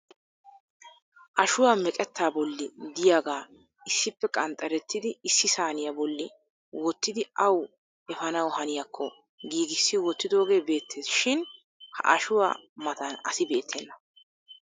Ashuwaa meqettaa bolli diyaagaa issippe qanxxerettidi issi saaniyaa bolli wottidi awu efaanawu haniyakko giigissi wottidooge beettees shin ha Ashuwaa matan asi beettena.